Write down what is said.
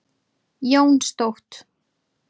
Jónstótt